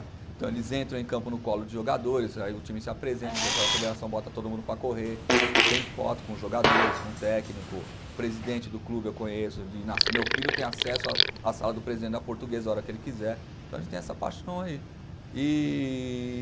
Então eles entram em campo no colo de jogadores, aí o time se apresenta, o pessoal da federação bota todo mundo para correr, tem foto com jogadores, com técnico, presidente do clube eu conheço de nas, meu filho tem acesso à sala do presidente da portuguesa a hora que ele quiser, então a gente tem essa paixão aí. Ee